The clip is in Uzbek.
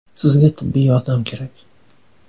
Sizga tibbiy yordam kerak.